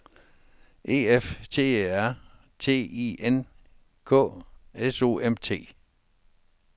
E F T E R T Æ N K S O M T